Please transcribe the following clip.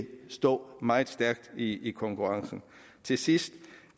stå meget stærkt i i konkurrencen til sidst